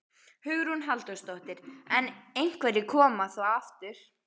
Hugrún Halldórsdóttir: En einhverjir koma. þá aftur?